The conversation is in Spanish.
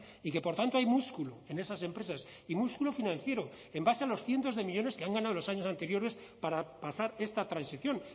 y que por tanto hay músculo en esas empresas y músculo financiero en base a los cientos de millónes que han ganado los años anteriores para pasar esta transición